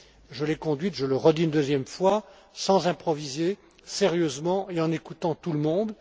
Je l'ai conduite je le redis une deuxième fois sans improviser, sérieusement, et en écoutant tout le monde.